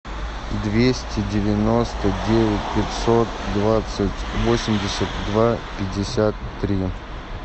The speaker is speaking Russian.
двести девяносто девять пятьсот двадцать восемьдесят два пятьдесят три